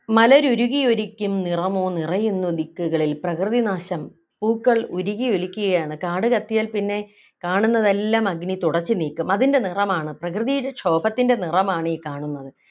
മലരുരുകിയൊലിക്കും നിറമോ നിറയുന്നു ദിക്കുകളിൽ പ്രകൃതിനാശം പൂക്കൾ ഉരുകിയൊലിക്കുകയാണ് കാടുകത്തിയാൽ പിന്നെ കാണുന്നതെല്ലാം അഗ്നി തുടച്ചു നീക്കും അതിൻ്റെ നിറമാണ് പ്രകൃതിയുടെ ക്ഷോഭത്തിൻ്റെ നിറമാണ് ഈ കാണുന്നത്